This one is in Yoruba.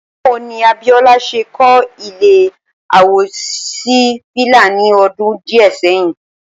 Báwo ni Abíó̩lá s̩e kó̩ ilé à-wò-sí-fìlà ní o̩dún dì́è̩ sé̩yìn?